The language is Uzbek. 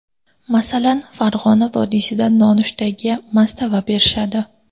Masalan, Farg‘ona vodiysida nonushtaga mastava berishadi.